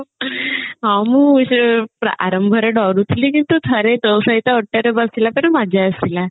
ହଁ ମୁ ସେ ପ ଆରମ୍ଭ ରେ ଡରୁଥିଲି କିନ୍ତୁ ଥରେ ତୋ ସହିତ ଓଟ ରେ ବସିଲା ପରେ ମଜା ଆସିଲା